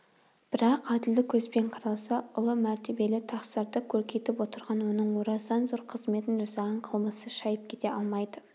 бірақ әділдік көзбен қаралса ұлы мәртебелі тақсырды көркейтіп отырған оның орасан зор қызметін жасаған қылмысы шайып кете алмайды